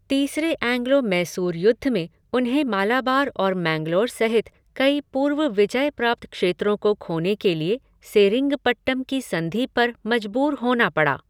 तीसरे एंग्लो मैसूर युद्ध में उन्हें मालाबार और मैंगलोर सहित कई पूर्व विजय प्राप्त क्षेत्रों को खोने के लिए सेरिंगपट्टम की संधि पर मजबूर होना पड़ा।